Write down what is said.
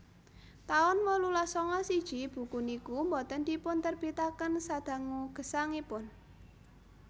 taun wolulas sanga siji buku niku boten dipunterbitaken sadangu gesangipun